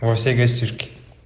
во всей гостишке